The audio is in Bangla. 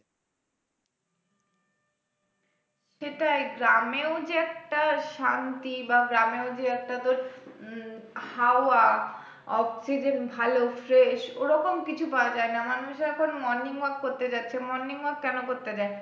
সেটাই গ্রামেও যে একটা শান্তি বা গ্রামেও যে একটা তোর উম হাওয়া oxygen ভালো fresh ওরকম কিছু পাওয়া যায় না মানুষে এখন morning walk করতে যাচ্ছে morning walk কেন করতে যায়?